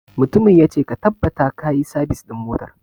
Mutumin ya ce 'Ka tabbata kayi sabis ɗin motar'!